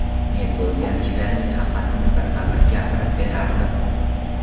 Men bo‘lgan ishlarning hammasini birma-bir gapirib berardim.